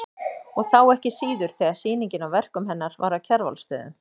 Og þá ekki síður þegar sýningin á verkum hennar var á Kjarvalsstöðum.